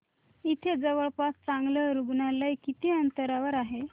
इथे जवळपास चांगलं रुग्णालय किती अंतरावर आहे